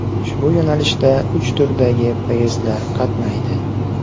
Ushbu yo‘nalishda uch turdagi poyezdlar qatnaydi.